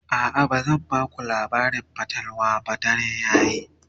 a'a bazan Baku labarin fatalwa ba dare yayi